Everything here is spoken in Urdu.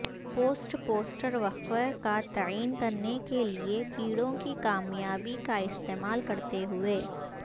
پوسٹ پوسٹر وقفہ کا تعین کرنے کے لئے کیڑوں کی کامیابی کا استعمال کرتے ہوئے